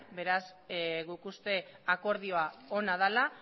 beraz guk uste akordioa ona dela